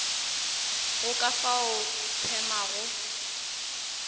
go ka fao di phemago